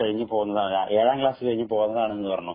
കഴിഞ്ഞു പോന്നതാന്നു എഴാം ക്ലാസ്സ്‌ കഴിഞ്ഞു പോന്നതാണെന്നു പറഞ്ഞു.